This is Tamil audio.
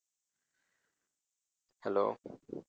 hello